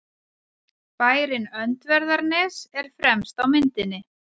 Bærinn Öndverðarnes er fremst á myndinni.